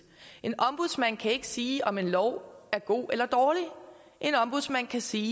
en ombudsmand kan ikke sige om en lov er god eller dårlig en ombudsmand kan sige